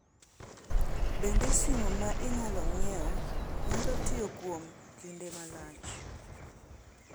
Bende simu ma inyalo ng’iewo nyalo tiyo kuom kinde malach?